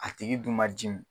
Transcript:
A tigi dun ma cun.